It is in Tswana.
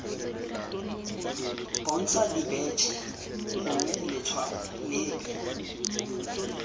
bontsha dibetšhe gongwe letshwao lepe